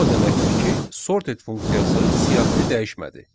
Bu o deməkdir ki, sorted funksiyası siyahını dəyişmədi.